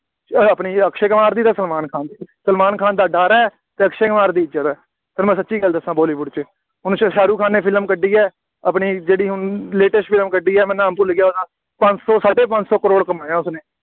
ਅਹ ਆਪਣੀ ਅਕਸ਼ੇ ਕੁਮਾਰ ਅਤੇ ਸਲਮਾਨ ਖਾਨ ਦੀ, ਸਲਮਾਨ ਖਾਨ ਦਾ ਡਰ ਹੈ ਅਤੇ ਅਕਸ਼ੇ ਕੁਮਾਰ ਦੀ ਇੱਜ਼ਤ ਹੈ ਤੁਹਾਨੂੰ ਮੈਂ ਸੱਚੀ ਗੱਲ ਦੱਸਾਂ ਬਾਲੀਵੁੱਡ ਵਿੱਚ, ਹੁਣ ਸ਼ਾਹਰੁਖ ਖਾਨ ਨੇ ਫਿਲਮ ਕੱਢੀ ਹੈ, ਆਪਣੀ ਜਿਹੜੀ ਹੁਣ latest ਫਿਲਮ ਕੱਢੀ ਹੈ, ਮੈਂ ਨਾਮ ਭੁੱਲ ਗਿਆ ਉਹਦਾ, ਪੰਜ ਸੌ, ਸਾਢੇ ਪੰਜ ਸੌ ਕਰੋੜ ਕਮਾਇਆ ਉਸਨੇ,